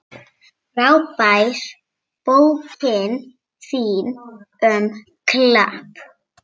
Frábær bókin þín um Klepp.